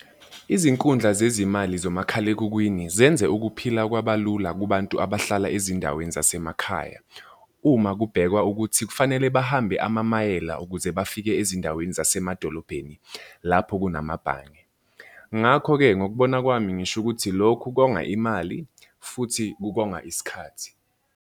Izinkundla zezimali zomakhalekhukhwini zenze ukuphila kwabalula kubantu abahlala ezindaweni zasemakhaya. Uma kubhekwa ukuthi kufanele bahambe amamayela ukuze bafike ezindaweni zasemadolobheni lapho kunamabhange. Ngakho-ke ngokubona kwami ngisho ukuthi lokhu konga imali futhi kukonga isikhathi.